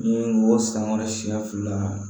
N ye n b'o san kɔrɔ siɲɛ fila